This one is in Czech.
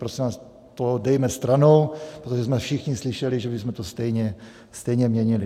Prosím vás, to dejme stranou, protože jsme všichni slyšeli, že bychom to stejně měnili.